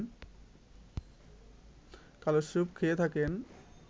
কালোস্যুপ খেয়ে থাকেন